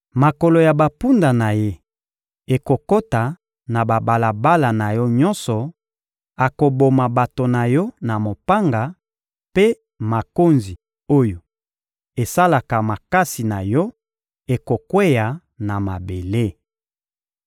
Makolo ya bampunda na ye ekokota na babalabala na yo nyonso, akoboma bato na yo na mopanga, mpe makonzi oyo esalaka makasi na yo ekokweya na mabele.